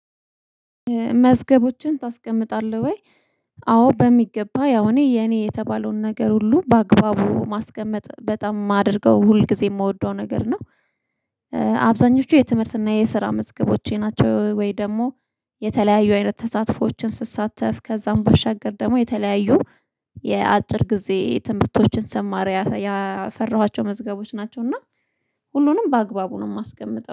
መዝገቦችን ታስቀምጣለህ ወይ?" አዎ በሚገባ። ያው እኔ የኔ የተባለውን ነገር ሁሉ በአግባቡ ማስቀመጥ በጣም የማደርገው ሁል ጊዜ የምወደው ነገር ነው። አብዛኞቹ የትምህርትና የስራ መዝገቦቼ ናቸው፤ ወይ ደግሞ የተለያዩ አይነት ተሳትፎዎችን ስትሳተፍ ከዛም በሻገር ደግሞ የተለያዩ የአጭር ጊዜ ትምህርቶችን ሰማር ያፈራኋቸው መዝገቦች ናቸው፤ እና ሁሉንም በአግባቡ ነው የማስገምጠው።